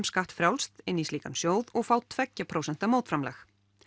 skattfrjálst í slíkan sjóð og fá tveggja prósenta mótframlag